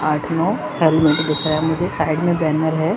आठ-नौ दिख रहा है मुझे साइड में बैनर है।